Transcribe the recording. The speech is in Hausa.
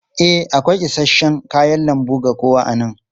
E, akwai isasshen kayan lambu ga kowa a nan.